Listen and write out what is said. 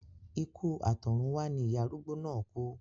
Ikú àtọ̀runwá ni ìyá arúgbó náà kú